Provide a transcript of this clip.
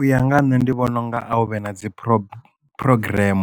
U ya nga ha nṋe ndi vhona unga a hu vhe na dzi PrEP program